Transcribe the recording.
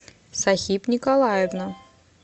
сахиб николаевна